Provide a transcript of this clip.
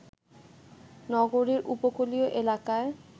নগরীর উপকূলীয় এলাকায়